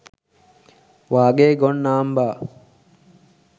වාගේ ගොන් නාම්බා